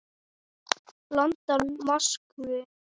London, Moskvu.